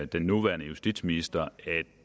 den nuværende justitsminister